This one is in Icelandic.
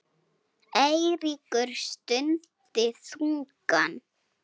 Eiríkur stundi þungan.